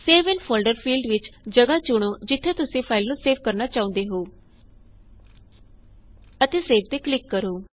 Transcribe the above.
save in folder field ਵਿੱਚ ਜਗਹ ਚੁਣੇਂ ਜਿੱਥੇ ਤੁਸੀਂ ਫਾਇਲ ਨੂੰ ਸੇਵ ਕਰਨਾ ਚਾਹੁੰਦੇ ਹੋ ਅਤੇ ਸੇਵ ਤੇ ਕਲਿਕ ਕਰੋ